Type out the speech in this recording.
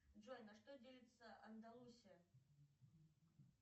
джой на что делится андалусия